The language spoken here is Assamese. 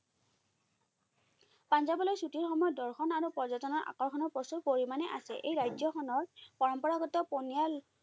পাঞ্জাৱলৈ ছুটিৰ সময়ত দৰ্শন আৰু পৰ্যটনৰ আকৰ্ষণৰ প্ৰচুৰ পৰিমাণে আছে। এই ৰাজ্যখনৰ পৰম্পৰাগত পনিয়াল